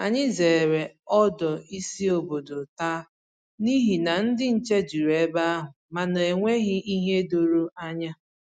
Ànyị zere ọdù ísì ọ̀bòdò taa n’ihi na ndị nche jùrù ebe ahụ ma na enweghị ìhè doro ànyà